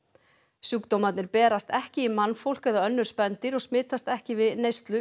sjúkdómarnir berast ekki í mannfólk eða önnur spendýr og smitast ekki við neyslu